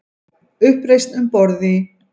Uppreisn um borð í